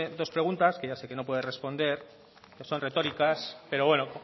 dos preguntas que ya sé que no puede responder que son retóricas pero bueno